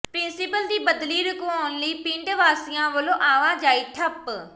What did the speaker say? principal ਦੀ ਬਦਲੀ ਰੁਕਵਾਉਣ ਲਈ ਪਿੰਡ ਵਾਸੀਆਂ ਵੱਲੋਂ ਆਵਾਜਾਈ ਠੱਪ